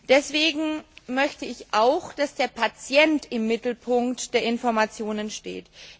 Deswegen möchte ich auch, dass der Patient im Mittelpunkt der Informationen steht.